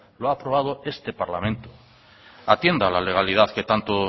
lo ha aprobado este parlamento atienda a la legalidad que tanto